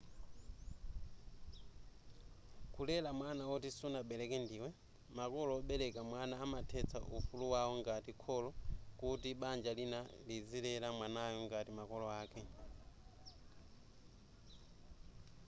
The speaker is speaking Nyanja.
kulera mwana woti sunabereke ndiwe makolo obereka mwana amathetsa ufulu wawo ngati kholo kuti banja lina lizilera mwanayo ngati makolo ake